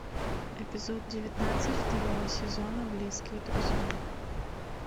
эпизод девятнадцать второго сезона близкие друзья